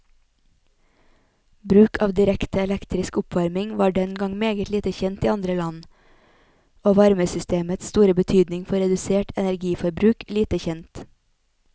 Bruk av direkte elektrisk oppvarming var den gang meget lite kjent i andre land, og varmesystemets store betydning for redusert energiforbruk lite kjent.